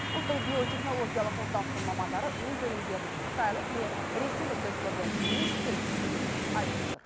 ұлттық биотехнологиялық орталықтың мамандары өз өнімдерінің қытайлық не ресейлік тесттерден еш кем түспейтінін айтып отыр